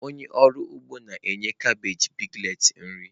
Onye ọrụ ugbo na-enye kabeeji piglets nri.